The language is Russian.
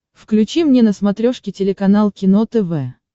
включи мне на смотрешке телеканал кино тв